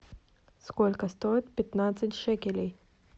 сколько стоит пятнадцать шекелей